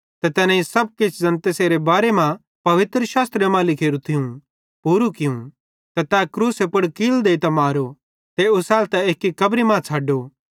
ते तैनेईं सब किछ ज़ैन तैसेरे बारे मां पवित्रशास्त्रे मां लिखोरू थियूं पूरू कियूं त तै क्रूसे पुड़ कील देइतां मारो ते ओसैलतां एक्की कब्री मां छ़ड्डो